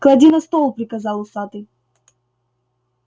клади на стол приказал усатый